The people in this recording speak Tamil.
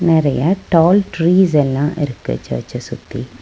நெறைய டால் ட்ரீஸ் எல்லா இருக்கு சர்ச்ச சுத்தி.